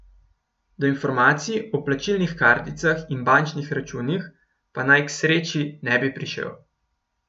Do informacij o plačilnih karticah in bančnih računih pa naj k sreči ne bi prišel.